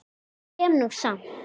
Ég kem nú samt!